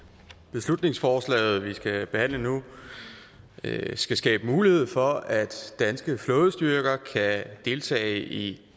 beslutningsforslaget vi skal behandle nu skal skabe mulighed for at danske flådestyrker kan deltage i